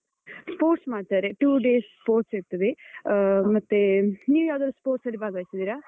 Sports ಮಾಡ್ತಾರೆ two days sports ಇರ್ತದೆ. ಆ ಮತ್ತೇ, ನೀವ್ ಯಾವ್ದಾದ್ರೂ sports ಅಲ್ಲಿ ಭಾಗವಹಿಸಿದ್ದೀರಾ?